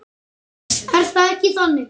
Er það ekki þannig?